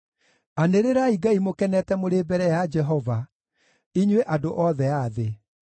Anĩrĩrai Ngai mũkenete mũrĩ mbere ya Jehova, inyuĩ andũ othe a thĩ!